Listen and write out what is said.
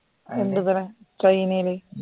ഉണ്ടത്രേ ചൈനേല്